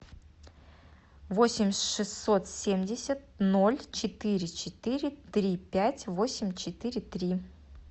восемь шестьсот семьдесят ноль четыре четыре три пять восемь четыре три